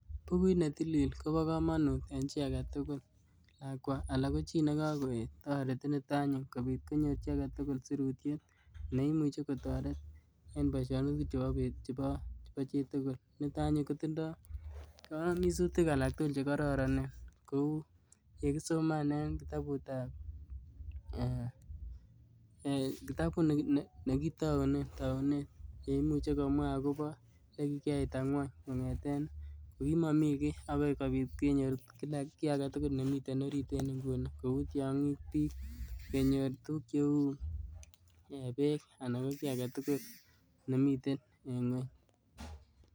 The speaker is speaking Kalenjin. Bukuit ne tilil kobo komonut eng chii age tugul, lakwa anan ko chii ne kageet. Toreti nito anyun kobiit konyoor chii age tugul sirutiet ne imuchi kotoreet eng boisionik chebo beet chebo chitugul. Nitok anyun kotindoi kayamisutik alak tugul che kororonen kou ye kisoman en kitabut ee nekitaunee taunet neimuchi komwa agobo ang'wan kong'eten kogimamii kiiy agoi kobiit kenyor kiiy age tugul nemiten oriit en nguni kou tyong'iik, biik, kenyor tuguk cheu ee beek anan kiiy age tugul nemiten en ng'weny